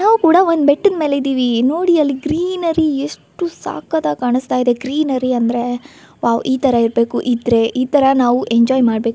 ನಾವು ಕೂಡ ಒಂದ ಬೆಟ್ಟದ ಮೇಲೆ ಇದೀವಿ ನೋಡಿ ಅಲ್ಲಿ ಗ್ರೀನರಿ ಎಷ್ಟು ಸಕತ್ತಾಗಿ ಕಾಣಸ್ತಾ ಇದೆ. ಗ್ರೀನರಿ ಅಂದ್ರೆ ವಾವ್ ಇತರ ಇರಬೇಕು ಇದ್ರೆ ಇತರ ನಾವು ಎಂಜೋಯ್ ಮಾಡಬೇಕು.